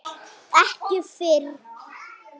Ekki fyrr?